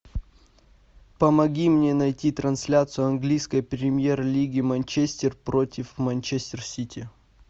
помоги мне найти трансляцию английской премьер лиги манчестер против манчестер сити